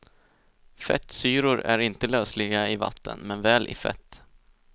Fettsyror är inte lösliga i vatten, men väl i fett.